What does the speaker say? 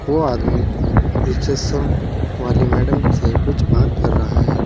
वो आदमी रिसेप्शन वाली मैडम से कुछ बात कर रहा है।